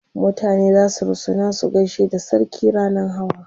mutane zasu rusuna su gaishe da sarki rannan Hawa